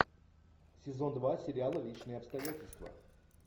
сезон два сериала личные обстоятельства